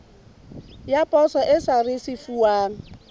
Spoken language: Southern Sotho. ya poso e sa risefuwang